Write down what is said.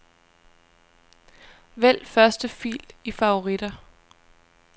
Vælg første fil i favoritter.